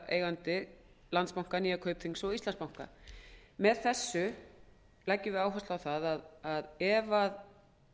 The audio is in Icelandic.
meirihlutaeigandi landsbanka nýja kaupþings og íslandsbanka með þessu leggjum við áherslu á það að ef